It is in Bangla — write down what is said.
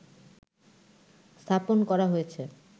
স্থাপন করা হয়েছে